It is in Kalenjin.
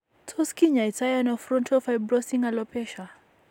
Tos kinyai to ano frontal fibrosing alopecia ?